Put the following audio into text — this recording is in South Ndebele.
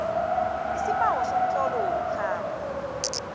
isibawo somtlolo wokukhamba